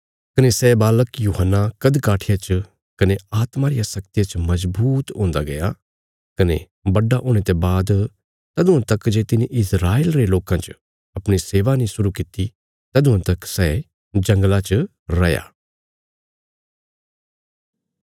कने सै बालक यूहन्ना कद काठिया च कने आत्मा रिया शक्तिया च मजबूत हुन्दा गया कने बड्डा हुणे ते बाद तदुआं तक जे तिने इस्राएल रे लोकां च अपणी सेवा नीं शुरु किति तदुआं तक सै जंगला च रैया